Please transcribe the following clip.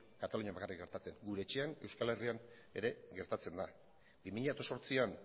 katalunian bakarrik gertatzen gure etxean euskal herrian ere gertatzen da bi mila zortzian